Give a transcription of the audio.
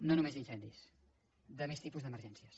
no només d’incendis de més tipus d’emergències